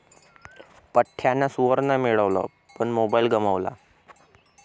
पठ्ठ्यानं सुवर्ण मिळवलं पण मोबाईल गमावला...